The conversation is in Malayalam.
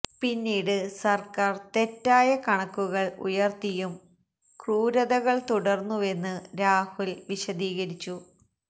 പിന്നീട് സര്ക്കാര് തെറ്റായ കണക്കുകള് ഉയര്ത്തിയും ക്രൂരതകള് തുടര്ന്നുവെന്ന് രാഹുല് വിശദീകരിച്ചു